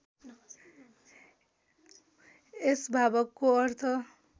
यस भावको अर्थ